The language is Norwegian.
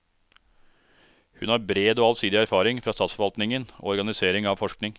Hun har bred og allsidig erfaring fra statsforvaltningen og organisering av forskning.